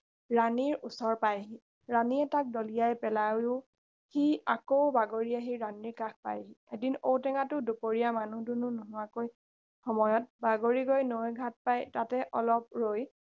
ৰাণীৰ ওচৰ পায়হি ৰাণীয়ে তাক দলিয়াই পেলালেও সি আকৌ বাগৰি আহি ৰাণীৰ কাষ পায়হি এদিন ঔ টেঙাটো দুপৰীয়া মানুহ দুনুহ নোহোৱাকৈৈ সময়ত বাগৰি গৈ নৈৰ ঘাট পাই তাতে অলপ ৰৈ